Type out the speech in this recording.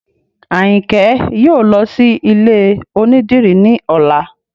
Ayinke yóò lọ sí ilé onídìrí ní ọ̀la